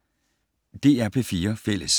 DR P4 Fælles